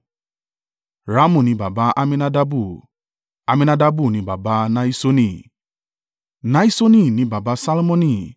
Ramu ni baba Amminadabu; Amminadabu ni baba Nahiṣoni; Nahiṣoni ni baba Salmoni;